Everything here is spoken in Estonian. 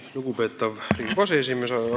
Lugupeetav Riigikogu aseesimees!